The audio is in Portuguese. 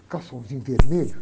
Com o calçãozinho vermelho.